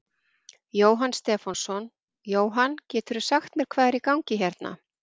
Jóhann Stefánsson: Jóhann, geturðu sagt mér hvað er í gangi hérna?